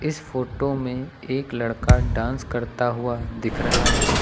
इस फोटो में एक लड़का डांस करता हुआ दिख रहा है।